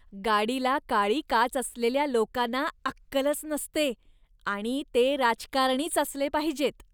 गाडीला काळी काच असलेल्या लोकांना अक्कलच नसते आणि ते राजकारणीच असले पाहिजेत.